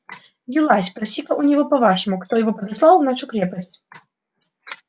юлай спроси-ка у него по-вашему кто его подослал в нашу крепость